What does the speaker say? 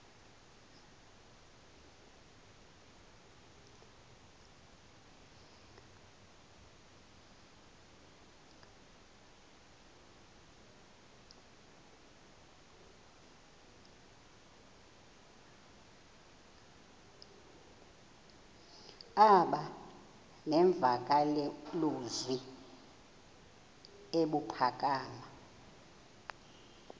aba nemvakalozwi ebuphakama